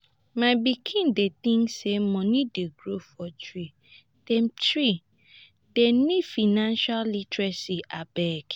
my pikin dem tink sey moni dey grow for tree dem tree dem need financial literacy abeg.